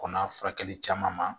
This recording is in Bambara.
Kɔnɔ furakɛli caman ma